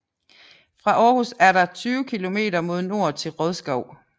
Fra Aarhus er der 20 kilometer mod nord til Rodskov